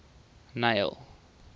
neil